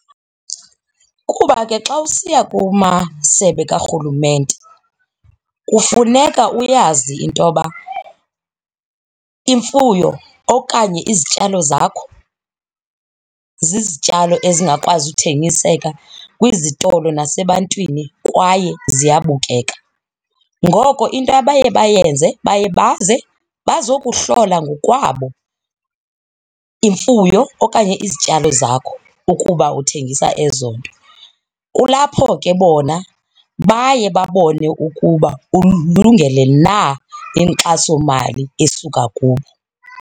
Ukuba ke xa usiya kumasebe karhulumente kufuneka uyazi intoba imfuyo okanye izityalo zakho zizityalo ezingakwazi uthengiseka kwizitolo nasebantwini kwaye ziyabukeka. Ngoko into abaye bayenze baye baze bazokuhlola ngokwabo imfuyo okanye izityalo zakho ukuba uthengisa ezo nto, kulapho ke bona baye babone ukuba ululungele na inkxasomali esuka kubo.